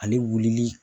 Ani wululi